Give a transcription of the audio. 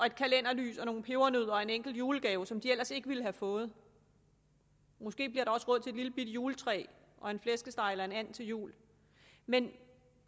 et kalenderlys og nogle pebernødder og en enkelt julegave som de ellers ikke ville have fået måske bliver der også råd til et lillebitte juletræ og en flæskesteg eller en and til jul men